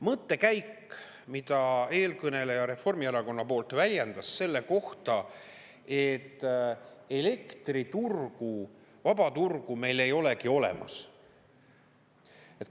Mõttekäik, mida eelkõneleja Reformierakonna poolt väljendas selle kohta, et elektriturgu, vaba turgu meil ei olegi olemas.